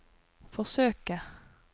forsøke